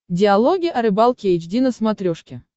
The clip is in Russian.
диалоги о рыбалке эйч ди на смотрешке